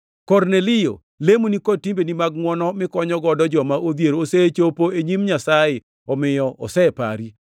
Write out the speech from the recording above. ‘Kornelio, lemoni kod timbene mag ngʼwono mikonyogo joma odhier osechopo e nyim Nyasaye, omiyo osepari.